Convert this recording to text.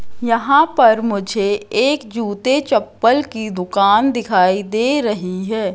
यहां पर मुझे एक जूते चप्पल की दुकान दिखाई दे रही है।